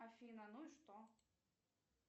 афина ну и что